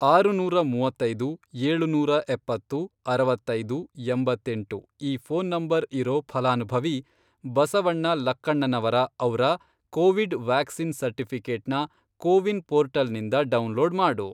ಆರುನೂರ ಮೂವತ್ತೈದು, ಏಳುನೂರಾ ಎಪ್ಪತ್ತು, ಅರವತ್ತೈದು, ಎಂಬತ್ತೆಂಟು, ಈ ಫ಼ೋನ್ ನಂಬರ್ ಇರೋ ಫಲಾನುಭವಿ ಬಸವಣ್ಣ ಲಕ್ಕಣ್ಣನವರ ಅವ್ರ ಕೋವಿಡ್ ವ್ಯಾಕ್ಸಿನ್ ಸರ್ಟಿಫಿ಼ಕೇಟ್ನ ಕೋವಿನ್ ಪೋರ್ಟಲ್ನಿಂದ ಡೌನ್ಲೋಡ್ ಮಾಡು.